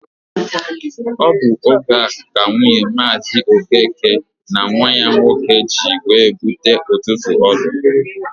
Ọ bụ oge a ka nwunye Maazi Okeke na nwa ya nwoke ji wee bute ụtụtụ ọlụ.